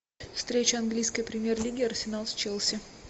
встреча английской премьер лиги арсенал с челси